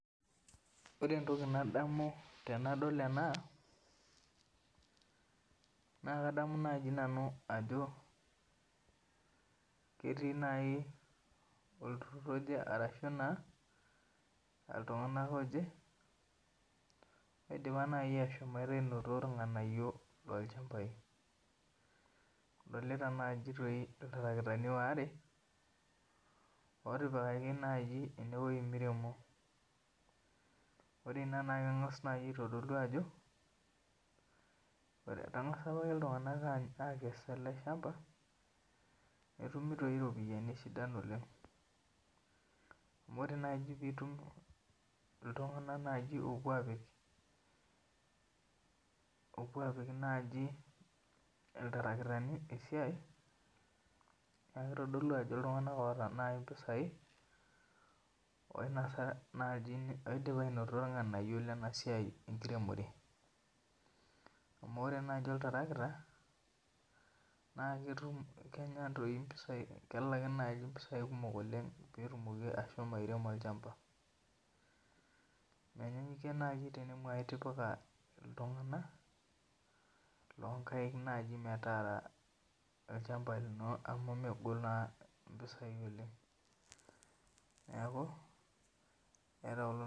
Ore entoki nadamu tenadol ena, na kadamu naji nanu ajo ketii olturrur oje arashu naa, iltung'anak oje, oidipa naji ashomo anotito irng'anayio tolchambai. Adolita naji toi iltarakitani waare, otipikaki naji ewoi miremo. Ore ina na keng'as nai aitodolu ajo, etang'asa apake iltung'anak akes ele shamba, netumi toi iropiyiani sidan oleng. Amu ore nai nye pitum iltung'anak naji opuo apik naji iltarakitani esiai, na kitodolu ajo iltung'anak oata naji impisai, oinasa naji oidipa ainoto irng'anayio lenasiai enkiremore. Amu ore naji oltarakita, naa ketum kenya toi mpisai kekaki mpisai kumok oleng petumoki ashomo airemo olchamba. Menyenyukie nai tenemu aitipika iltung'anak, lonkaik naji metaara olchamba lino amu megol naa impisai oleng. Neeku, eeta kulo